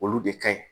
Olu de ka ɲi